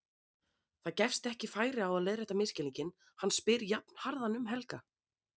Það gefst ekki færi á að leiðrétta misskilninginn, hann spyr jafnharðan um Helga.